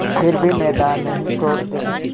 फिर भी मैदान नहीं छोड़ते